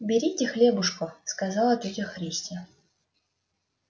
берите хлебушко сказала тётя христи